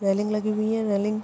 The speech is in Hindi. रेलिंग लगी हुवी है रेलिंग --